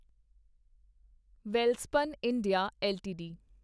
Welspun India LTD